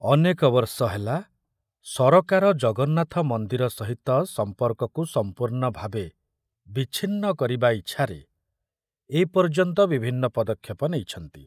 ଅନେକ ବର୍ଷ ହେଲା ସରକାର ଜଗନ୍ନାଥ ମନ୍ଦିର ସହିତ ସମ୍ପର୍କକୁ ସମ୍ପୂର୍ଣ୍ଣ ଭାବେ ବିଚ୍ଛିନ୍ନ କରିବା ଇଚ୍ଛାରେ ଏ ପର୍ଯ୍ୟନ୍ତ ବିଭିନ୍ନ ପଦକ୍ଷେପ ନେଇଛନ୍ତି।